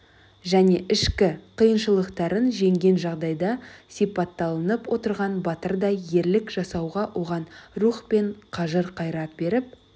және ішкі қиыншылықтарын жеңген жағдайда сипатталынып отырған батырдай ерлік жасауға оған рух пен қажыр-қайрат беріп